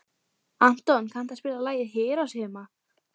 Anton, kanntu að spila lagið „Hiroshima“?